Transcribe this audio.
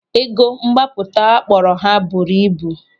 Ego mgbapụta akpọrọ ha buru ibu.